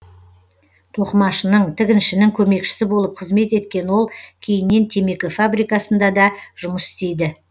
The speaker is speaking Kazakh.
тоқымашының тігіншінің көмекшісі болып қызмет еткен ол кейіннен темекі фабрикасында да жұмыс істейді